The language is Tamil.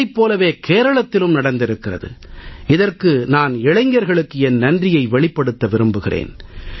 இதைப் போலவே கேரளத்திலும் நடந்திருக்கிறது இதற்கு நான் இளைஞர்களுக்கு என் நன்றியை வெளிப்படுத்த விரும்புகிறேன்